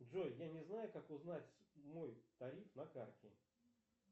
джой я не знаю как узнать мой тариф на карте